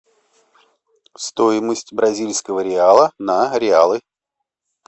стоимость бразильского реала на реалы